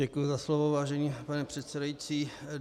Děkuji za slovo, vážený pane předsedající.